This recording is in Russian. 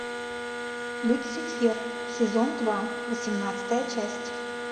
люцифер сезон два восемнадцатая часть